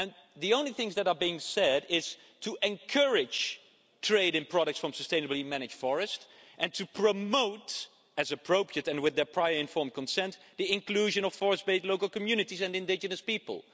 The only things that are being said is to encourage trade in products from sustainably managed forests and to promote, as appropriate and with prior informed consent, the inclusion of forest based local communities and indigenous people.